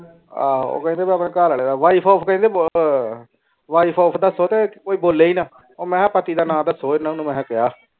ਆਹ ਕੈਂਦੀ ਮੈਂ ਆਪਣੇ ਘਾਲ ਆਲੇ ਨਾਲ ਵਾਈਫ ਕੈਂਦੇ ਵਾਈਫ ਓਫ ਦੱਸੋ ਤੇ ਕੋਈ ਬੋਲੇ ਨਾ ਉਹ ਮਿਹ ਪਤਾ ਦਾ ਨਾਦ ਦੱਸੋ ਐਨਾ ਮਿਹ ਕੀਆ